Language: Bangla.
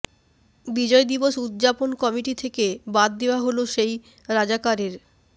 বিজয় দিবস উদযাপন কমিটি থেকে বাদ দেয়া হল সেই রাজাকারের